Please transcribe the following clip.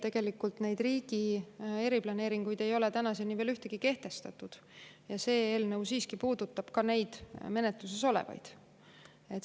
Tegelikult neid riigi eriplaneeringuid ei ole tänaseni veel ühtegi kehtestatud ja see eelnõu puudutab siiski ka neid menetluses olevaid planeeringuid.